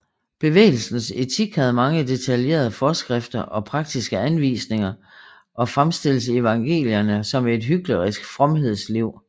Bevægelsens etik havde mange detaljerede forskrifter og praktiske anvisninger og fremstilles i evangelierne som et hyklerisk fromhedsliv